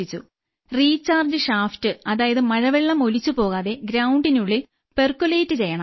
recharge shaft അതായത് മഴവെള്ളം ഒലിച്ചുപോകാതെ ഗ്രൌണ്ടിനുള്ളിൽ പെർകോലേറ്റ് ചെയ്യുണം